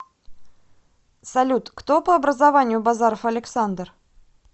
салют кто по образованию базаров александр